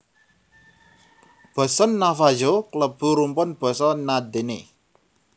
Basa Navajo klebu rumpun basa Na Dene